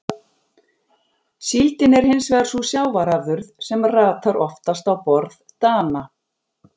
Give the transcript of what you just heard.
Síldin er hins vegar sú sjávarafurð sem ratar oftast á borð Dana.